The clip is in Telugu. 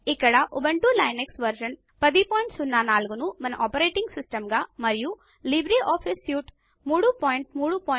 ఇక్కడ ఉబుంటూ లినక్స్ వెర్షన్ 1004 ను మన ఆపరేటింగ్ సిస్టమ్ గా మరియు లిబ్రేఆఫీస్ సూట్ 334